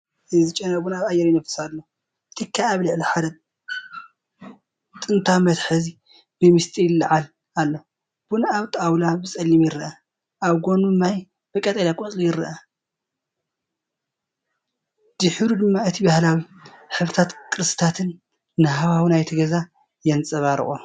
እዚ ጨና ቡን ኣብ ኣየር ይነፍስ ኣሎ፤ ትኪ ኣብ ልዕሊ ሓደ ጥንታዊ መትሓዚ ብሚስጢር ይለዓል ኣሎ። ቡን ኣብ ጣውላ ብጸሊም ይረአ፣ ኣብ ጎድኑ ማይ ብቀጠልያ ቆጽሊ ይርአ። ድሒሩ ድማ እቲ ባህላዊ ሕብርታትን ቅርስታትን ንሃዋህው ናይቲ ገዛ የንፀባርቆ።